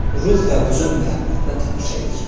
Ruh və buzun məhəbbətinə tamaşa edir.